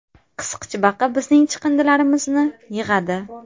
Qisqichbaqa bizning chiqindilarimizni yig‘adi.